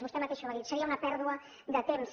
vostè mateixa ho ha dit seria una pèrdua de temps